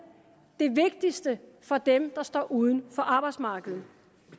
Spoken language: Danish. det vigtigste for dem der står uden for arbejdsmarkedet